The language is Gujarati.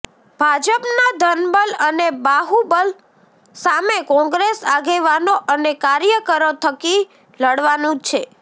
ભાજપના ધનબલ અને બાહુબલ સામે કોંગ્રેસ આગેવાનો અને કાર્યકરો થકી લડવાનું છે